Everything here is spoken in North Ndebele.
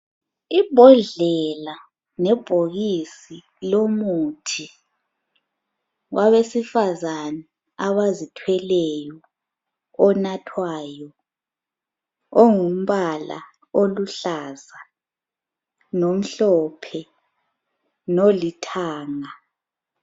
Imbodlela lebhokisi lomuthi wabesifazane abazithweleyo onathwayo ongumbala oluhlaza lomhlophe lolithanga.